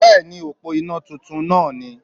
Bẹ́ẹ̀ni òpó iná titun náà ni